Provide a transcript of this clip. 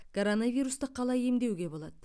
коронавирусты қалай емдеуге болады